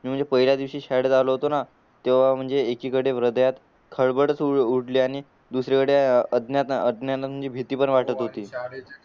पहिल्या दिवशी शाळेत आलो होतो ना तेव्हा म्हणजे एकीकडे हृदयात खळबळच उडली आणि दुसरीकडे भीती पण वाटतं होती